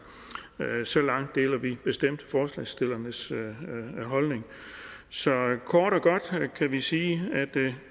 så langt deler vi bestemt forslagsstillernes holdning så kort og godt kan vi sige at det